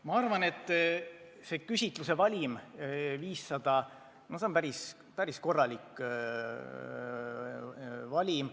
Ma arvan, et küsitluse valim 500 inimest on päris korralik valim.